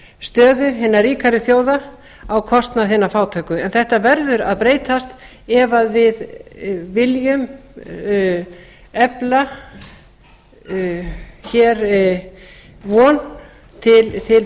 stöðu hinna ríkari þjóða á kostnað hinna fátæku en þetta verður að breytast ef við viljum efla hér von til